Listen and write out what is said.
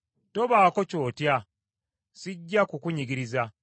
Tobaako ky’otya, sijja kukunyigiriza.